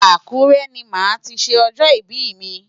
Akure ni màá ti ṣe ọjọ́ ìbí mi.